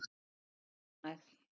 Mamma var líka ánægð.